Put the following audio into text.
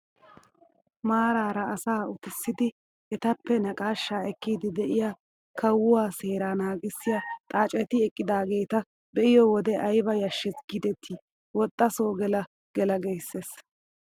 Maarara asaa uttisidi etappe naqashshaa ekkiidi de'iyaa kawuwaa seeraa nagissiyaa xaaceti eqqidaageta be'iyoo wode ayba yashees gidetii woxxa soo gela gela giissees!